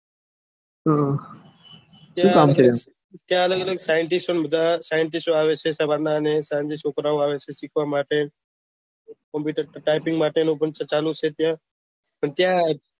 ત્યાં અલગ અલગ scientists ને બધા આવે છે scientists આવે છે સવાર ના અને એ છોકરાઓ આવે છે સીખવા માટે અને કમ્પ્યુટર તાય્પીંગ માટે ચાલુ છે ત્યાં